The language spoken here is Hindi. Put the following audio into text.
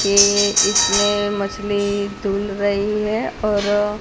इसमें मछली धुल रही है और--